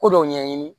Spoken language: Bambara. Ko dɔw ɲɛɲini